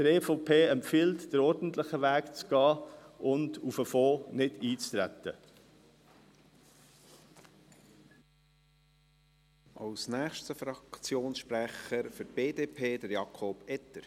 Die EVP empfiehlt, den ordentlichen Weg zu gehen und nicht auf den Fonds einzutreten.